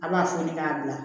A b'a foni k'a bila